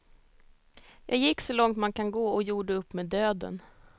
Jag gick så långt man kan gå och gjorde upp med döden.